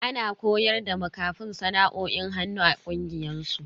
Ana koyar da makafin sana'o'in hannu a kungiyar su.